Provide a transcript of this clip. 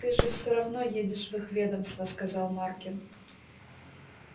ты же всё равно едешь в их ведомство сказал маркин